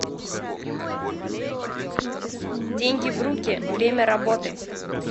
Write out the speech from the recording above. деньги в руки время работы